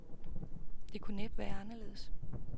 Det kunne næppe være anderledes.